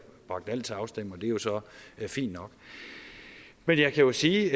bragt alt til afstemning og det er jo så fint nok men jeg kan sige